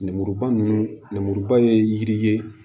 Lemuruba ninnu lemuruba ye yiri ye